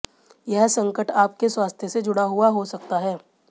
यह संकट आपके स्वास्थ्य से जुड़ा हुआ हो सकता है